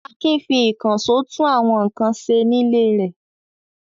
Akin fi ìkànṣó tún àwọn nǹkan ṣe nílé rẹ̀.